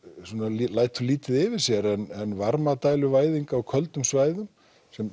lætur lítið yfir sér en varmadæluvæðing á köldum svæðum sem